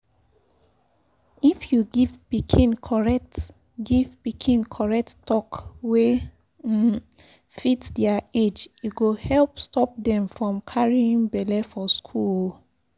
if you give pikin correct give pikin correct talk wey um fit their age e go help stop dem from carry belle for school. um